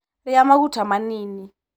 Rĩa maguta manini.